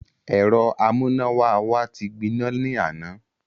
Ẹ̀rọ amúnáwá wa ti gbiná. ní àná.